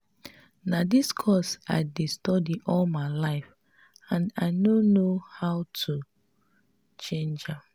na dis course i dey study all my life and i no know how to change am